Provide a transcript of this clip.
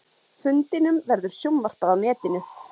Fundinum verður sjónvarpað á netinu